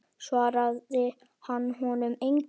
Svaraði hann honum engu.